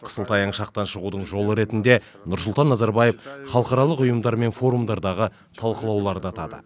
қысылтаяң шақтан шығудың жолы ретінде нұрсұлтан назарбаев халықаралық ұйымдар мен форумдардағы талқылауларды атады